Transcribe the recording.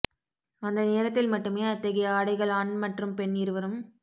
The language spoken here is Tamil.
அந்த நேரத்தில் மட்டுமே அத்தகைய ஆடைகள் ஆண் மற்றும் பெண் இருவரும்